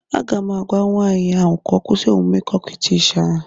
Aga m agwa nwaanyị a ka ọ kwụsị omume kokwịtishi a